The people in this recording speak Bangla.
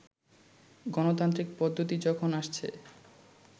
গনতান্ত্রিক পদ্ধতি যখন আসছে